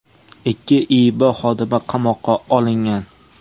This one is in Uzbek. Ikki IIB xodimi qamoqqa olingan.